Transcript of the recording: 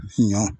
Ɲɔ